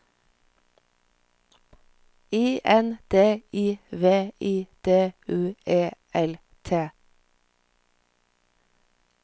I N D I V I D U E L T